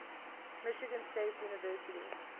michigan state university